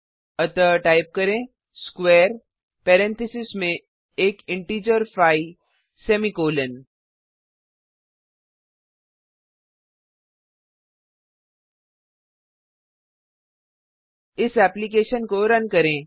अतः टाइप करें square parentheses में एक इंटिजर5 सेमीकॉलन इस एप्लिकेशन को रन करें